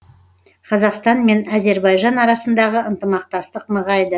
қазақстан мен әзербайжан арасындағы ынтымақтастық нығайды